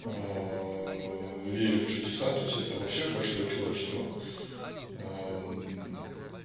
верю в чудеса то есть это вообще большое чудо что